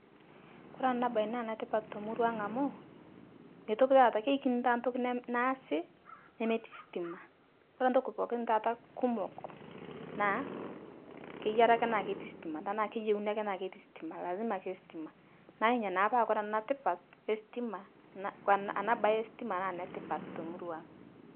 Kore ana baye naa netipat te muruang' amuu meitoki taata keikini taa ntoki nem naasi nemeti stima, kore ntoki pooki taata kumok naa keyiarii ake naa keti stima tanaa keyeuni ake naa keti stima, lazima ake stima naa inyia naa pa kore ana tipat estima en ana baye estima naa netipat te muruang'.